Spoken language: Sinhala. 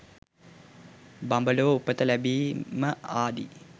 බඹලොව උපත ලැබීම ආදී